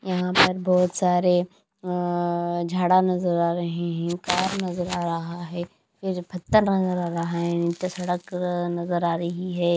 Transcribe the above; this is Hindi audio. यहां पर बहुत सारे अह झाड़ा नजर आ रहे हैं कार नजर आ रहा है नजर आ रहा है नीचे सड़क नजर आ रही है।